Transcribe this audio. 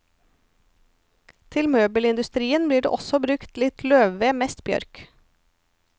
Til møbelindustrien blir det også brukt litt løvved, mest bjørk.